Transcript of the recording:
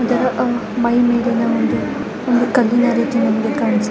ಇದು ಆಮೆಯ ಚಿತ್ರವಾಗಿದೆ.